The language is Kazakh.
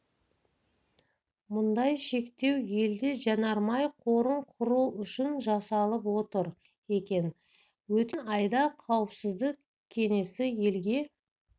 мұндай шектеу елде жанармай қорын құру үшін жасалып отыр екен өткен айда қауіпсіздік кеңесі елге